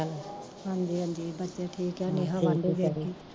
ਹਾਂਜੀ ਹਾਂਜੀ ਬੱਚੇ ਠੀਕ ਐ